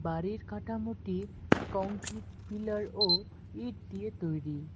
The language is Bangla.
বাড়ির কাটামোটি কংক্রিট পিলার ও ইট দিয়ে তৈরি।